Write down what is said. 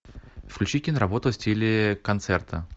включи киноработу в стиле концерта